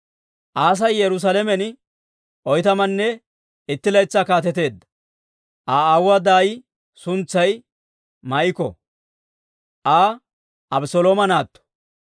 Aasi Yerusaalamen oytamanne itti laytsaa kaateteedda. Aa aawuwaa daay suntsay Maa'iko; Aa Abeselooma naatto.